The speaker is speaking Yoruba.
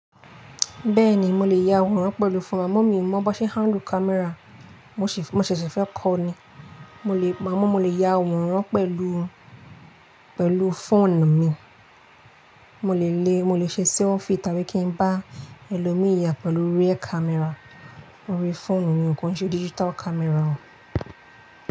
Bẹ́ẹ̀ni mo lè ya àwòrán pẹ̀lú fóònù, amá mi mọ̀ bó ṣe n handle camera, mo ṣèṣè fẹ́ kó ni. Amo mọ̀ lè ya àwòrán pẹ̀lú, pẹ̀lú fóònù mi, mo lè lè, mo lè ṣe selfie tàbí kí n bá ẹlòmíì ya pẹ̀lú rear camera orí fóònù mi kò n ṣe digital camera o.